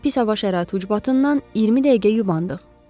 Amma pis hava şəraiti ucbatından 20 dəqiqə yubandıq.